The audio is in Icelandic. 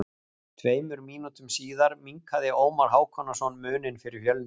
Tveimur mínútum síðar minnkaði Ómar Hákonarson muninn fyrir Fjölni.